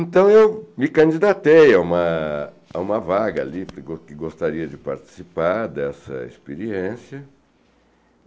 Então eu me candidatei a uma a uma vaga ali, porque go gostaria de participar dessa experiência.